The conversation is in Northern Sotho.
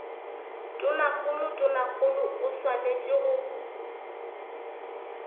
tonakgolo tonakgolo o swanetše go